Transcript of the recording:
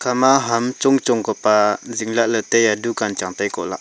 gama ham chongchong ka pa zingla ley taiya dukan chang tai ko aa.